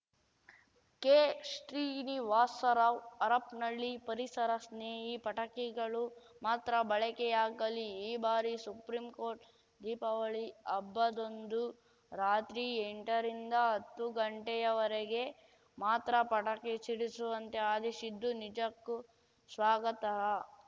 ಕೆಶ್ರೀನಿವಾಸರಾವ್‌ ಹರಪನಹಳ್ಳಿ ಪರಿಸರ ಸ್ನೇಹಿ ಪಟಾಕಿಗಳು ಮಾತ್ರ ಬಳಕೆಯಾಗಲಿ ಈ ಬಾರಿ ಸುಪ್ರಿಂಕೋರ್ಟ್‌ ದೀಪಾವಳಿ ಹಬ್ಬದಂದು ರಾತ್ರಿ ಎಂಟರಿಂದ ಹತ್ತು ಗಂಟೆಯವರಿಗೆ ಮಾತ್ರ ಪಟಾಕಿ ಸಿಡಿಸುವಂತೆ ಆದೇಶಿದ್ದು ನಿಜಕ್ಕೂ ಸ್ವಾಗತಾಹ